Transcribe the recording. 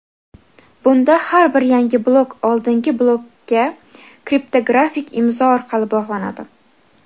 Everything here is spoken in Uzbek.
bunda har bir yangi blok oldingi blokka kriptografik imzo orqali bog‘lanadi.